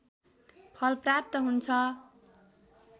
फल प्राप्त हुन्छ